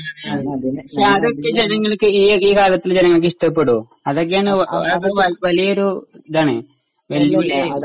പക്ഷെ അതൊക്കെ ഈ കാലത്തേ ജനങൾക്ക് ഇഷ്ടപ്പെടുമോ അത് അത് വലിയൊരു ഇതാണ്.